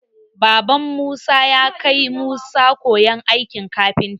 Baban musa yakai musa koyan aikin kafinta.